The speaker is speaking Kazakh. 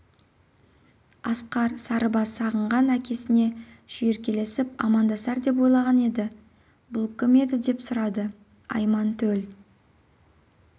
асқар сарыбас сағынған әкесіне шүйіркелесіп амандасар деп ойлаған еді бұл кім еді деп сұрады айман төл